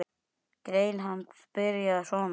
Grein hans byrjaði svona